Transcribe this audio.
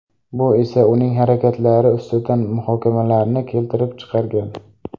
Bu esa uning harakatlari ustidan muhokamalarni keltirib chiqargan.